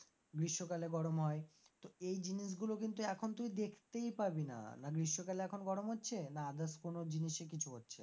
গ্রীষ্মকালে গরম হয়, তো এই জিনিসগুলো কিন্তু এখন তুই দেখতেই পাবি না, না গ্রীষ্মকালে এখন গরম হচ্ছে না others কোন জিনিসে কিছু হচ্ছে।